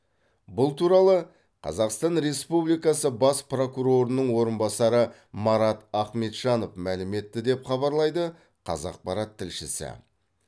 бұл туралы қазақстан республикасы бас прокурорының орынбасары марат ахметжанов мәлім етті деп хабарлайды қазақпарат тілшісі